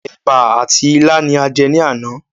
Èbà àti ilá ni a jẹ ní àná.